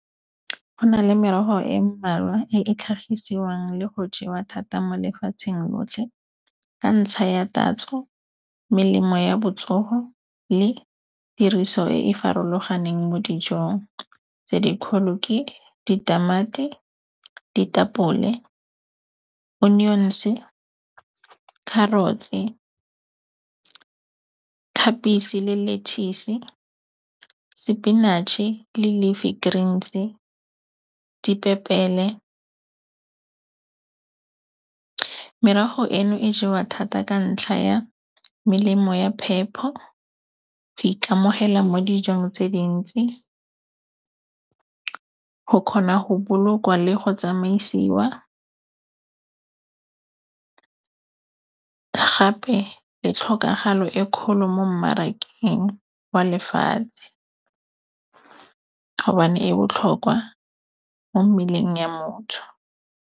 Go na le merogo e mmalwa e e tlhagisiwang le go jewa thata mo lefatsheng lotlhe ka ntlha ya tatso, melemo ya botsogo le tiriso e e farologaneng mo dijong. Tse dikgolo ke ditamati, ditapole, onions-e, carrots-e, khabetšhe le lettuce-e, sepinatšhe le leafy greens-e, dipepele. Merogo eno e jewa thata ka ntlha ya melemo ya phepho, go ikamogela mo dijong tse dintsi, go kgona go bolokwa le go tsamaisiwa gape le tlhokagalo e kgolo mo mmarakeng wa lefatshe gobane e botlhokwa mo mmeleng ya motho.